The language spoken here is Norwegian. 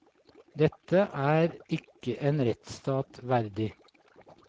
Dette er ikke en rettsstat verdig.